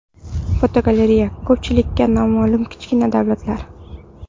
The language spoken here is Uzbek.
Fotogalereya: Ko‘pchilikka noma’lum kichkina davlatlar.